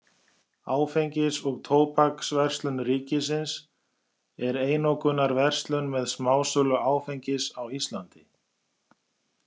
Áfengis- og tóbaksverslun ríkisins er einokunarverslun með smásölu áfengis á Íslandi.